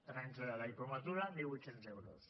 tres anys de diplomatura mil vuit cents euros